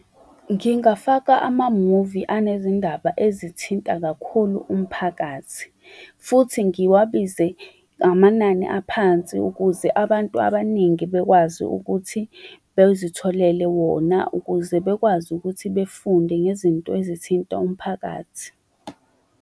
Ngingafaka ama-movie unezindaba ezithinta kakhulu umphakathi futhi ngiwabize ngamanani aphansi ukuze abantu abaningi bakwazi ukuthi bezitholele wona ukuze bekwazi ukuthi bafunde ngezinto ezithinta umphakathi.